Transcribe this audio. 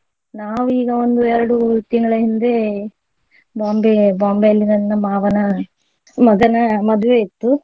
ನಾವು ಈಗ ಒಂದು ಎರಡು ತಿಂಗಳ ಹಿಂದೆ ಬಾಂಬೆ ಬಾಂಬೆಯಲ್ಲಿ ನನ್ನ ಮಾವನ ಮಗನ ಮದುವೆ ಇತ್ತು.